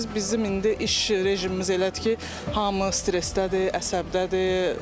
Bilirsiz, bizim indi iş rejimimiz elədir ki, hamı stressdədir, əsəbdədir.